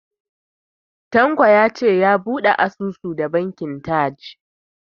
Tanko ya ce ya bude asusun da TAJ Bank.